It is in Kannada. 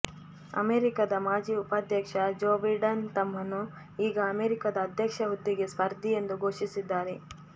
ಅಮೆರಿಕಾದ ಮಾಜಿ ಉಪಾಧ್ಯಕ್ಷ ಜೋ ಬಿಡನ್ ತಮ್ಮನ್ನು ಈಗ ಅಮೆರಿಕಾದ ಅಧ್ಯಕ್ಷ ಹುದ್ದೆಗೆ ಸ್ಪರ್ಧಿ ಎಂದು ಘೋಷಿಸಿದ್ದಾರೆ